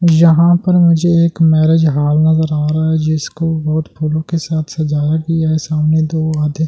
यहां पर मुझे एक मैरिज हाल नजर आ रहा है जिसको बहुत फूलों के साथ सजाया गया है सामने दो आधे--